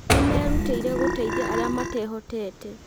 Nĩmerutĩire gũteithia arĩa matehotete